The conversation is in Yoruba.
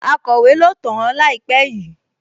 Akọ̀wé ló tàn-án láìpẹ́ yìí?